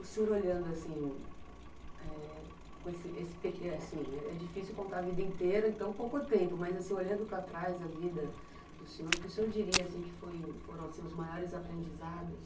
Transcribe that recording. O senhor olhando assim, é difícil contar a vida inteira, então pouco tempo, mas olhando para trás a vida do senhor, o que o senhor diria que foram os maiores aprendizados?